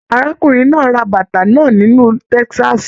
Arákùnrin náà ra bàtà náà nílu Texas